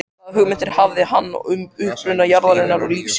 Hvaða hugmyndir hafði hann um uppruna jarðarinnar og lífsins?